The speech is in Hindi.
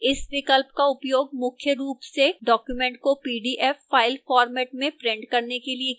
इस विकल्प का उपयोग मुख्य रूप से document को pdf फ़ाइल format में print करने के लिए किया जाता है